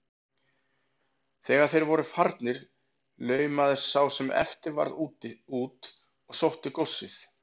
Þegar þeir voru farnir laumaðist sá sem eftir varð út og sótti góssið.